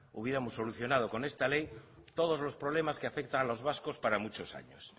hubiéramos solucionado con esta ley todos los problemas que afectan a los vascos para muchos años